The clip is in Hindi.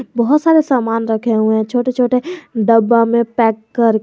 बहोत सारे सामान रखे हुए हैं छोटे छोटे डब्बा में पैक करके--